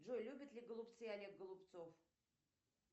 джой любит ли голубцы олег голубцов